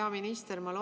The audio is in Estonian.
Hea minister!